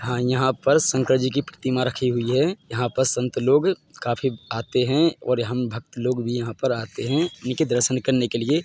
हाँ यहाँ पर शंकर जी की प्रतिमा राखी हुई है यहाँ पर संत लोग काफी आते है और हम भक्त लोग भी यहाँ आते है इनके दर्शन करने के लिए--